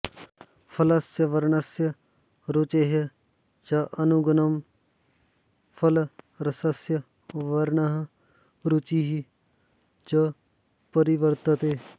फलस्य वर्णस्य रुचेः च अनुगुणं फलरसस्य वर्णः रुचिः च परिवर्तते